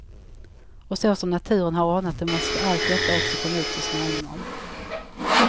Och så som naturen har ordnat det måste allt detta också komma ut så småningom.